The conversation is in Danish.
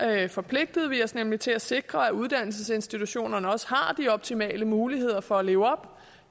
der forpligtede vi os nemlig til at sikre at uddannelsesinstitutionerne har de optimale muligheder for at leve op